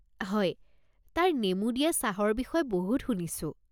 হয়, তাৰ নেমু দিয়া চাহৰ বিষয়ে বহুত শুনিছো।